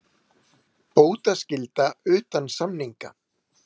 Bótaskylda utan samninga.